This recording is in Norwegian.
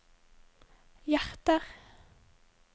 hjerter